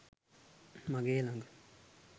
මගේ ලග